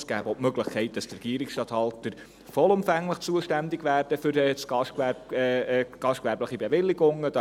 Es gäbe auch die Möglichkeit, dass der Regierungsstatthalter vollumfänglich für die gastgewerblichen Bewilligungen zuständig wäre.